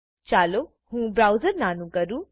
ચાલો હું બ્રાઉઝર નાનું કરું